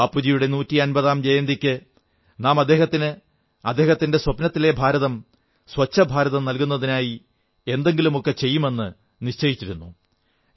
ബാപ്പുജിയുടെ നൂറ്റി അൻപതാം ജയന്തിക്ക് നാം അദ്ദേഹത്തിന് അദ്ദേഹത്തിന്റെ സ്വപ്നത്തിലെ ഭാരതം സ്വച്ഛഭാരതം നൽകുന്നതിനായി എന്തെങ്കിലുമൊക്കെ ചെയ്യുമെന്ന് നിശ്ചയിച്ചിരുന്നു